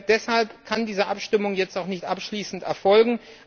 Deshalb kann diese Abstimmung jetzt auch nicht abschließend erfolgen.